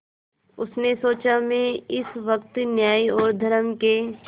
उसने सोचा मैं इस वक्त न्याय और धर्म के